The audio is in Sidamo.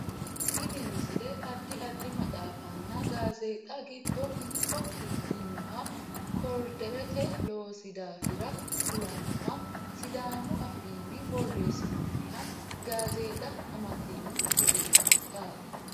tini misile addi addi maxaaffanna gazeexxa giddo mitto ikkinoha koriiderete loosi daafira kulannoha sidaamu afiinni borreessinooniha gazeexa amaddino misileeti yaate